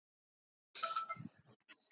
Kosti lokað á morgun ef.